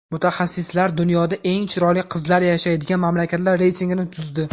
Mutaxassislar dunyoda eng chiroyli qizlar yashaydigan mamlakatlar reytingini tuzdi .